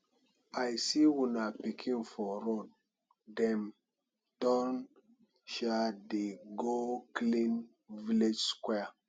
i see una pikin for road dem don um dey go clean village square